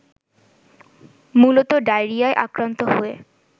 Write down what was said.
মূলত ডায়রিয়ায় আক্রান্ত হয়ে